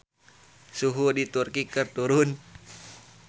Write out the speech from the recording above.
Suhu di Turki keur turun